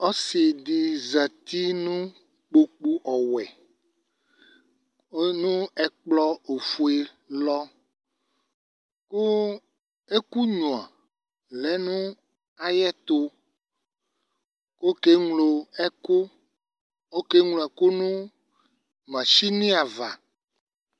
Ɔsɩdɩ zati nʋ kpoku ɔwɛ nʋ ,ɛkplɔ ofue lɔ Kʋ ɛkʋnyuǝ lɛ nʋ ayɛtʋ Okeŋlo ɛkʋ okeŋloɛ'ku nʋ machɩnɩ ava